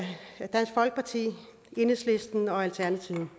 dansk folkeparti enhedslisten og alternativet